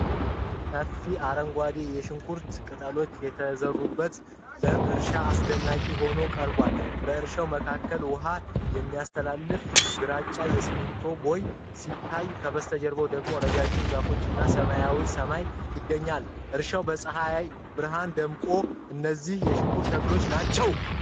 ሰፋፊ አረንጓዴ የሽንኩርት ቅጠሎች የተዘሩበት ለም እርሻ አስደናቂ ሆኖ ቀርቧል። በእርሻው መካከል ውሃ የሚያስተላልፍ ግራጫ የሲሚንቶ ቦይ ሲታይ፣ ከበስተጀርባው ደግሞ ረጃጅም ዛፎች እና ሰማያዊ ሰማይ ይገኛሉ። እርሻው በፀሐይ ብርሃን ደምቋል። እነዚህ የሽንኩርት ተክሎች ናቸው።